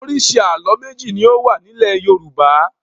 Oríṣi àlọ́ méjì ni ó wà nílẹ̀ Yorùbá.